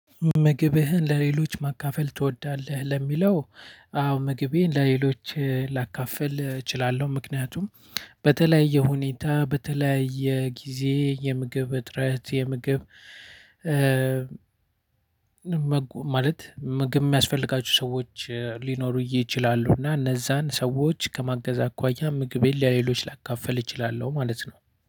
ምግብህን ለሌሎች ማካፈል ትወዳለህ ለሚለው? አዎ ምግቤን ለሌሎች ላካፍል እችላለሁ። ምክንያቱም በተለያየ ሁኔታ በተለያየ ጊዜ የምግብ እጥረት የምግብ። ማለት ምግብ የሚያስፈልጋችሁ ሰዎች ሊኖሩ ይችላሉና እነዛን ሰዎች ከማገዝ አኳያ ምግቤን ለሌሎች ላካፍል እችላለሁ ማለት ነው።